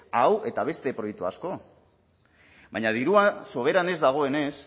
hau eta beste proiektu asko baina dirua soberan ez dagoenez